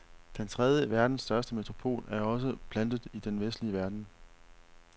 Den tredje verdens største metropol er også plantet i den vestlige verden.